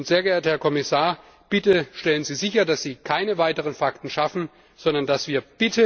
Sehr geehrter Herr Kommissar, bitte stellen Sie sicher, dass Sie keine weiteren Fakten mehr schaffen, sondern dass wir bitte!